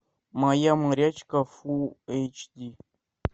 моя морячка фул эйч ди